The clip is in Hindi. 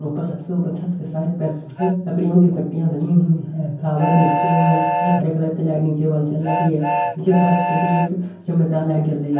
ऊपर सबसे ऊपर छत के साइड पर एक लकड़ियों की पट्टियां बनी हुई हैं फ्लावर भी लटके हुए हैं एक हरे कलर लाइट नीचे वॉल जल रही है नीचे फर्श पे भी एक चमकदार लाइट जल रही है।